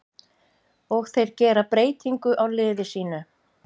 Og þeir gera breytingu á liði sínu.